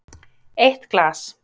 Eitt glas